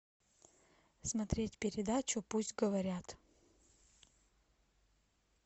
смотреть передачу пусть говорят